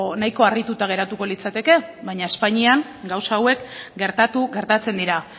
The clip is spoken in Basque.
nahiko harrituta geratuko litzateke baina espainian gauza hauek gertatu gertatzen dira